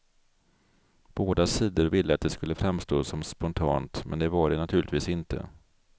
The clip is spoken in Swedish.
Båda sidor ville att det skulle framstå som spontant, men det var det naturligtvis inte.